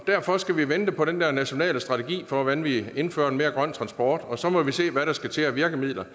derfor skal vi vente på den nationale strategi for hvordan vi indfører en mere grøn transport og så må vi se hvad der skal til af virkemidler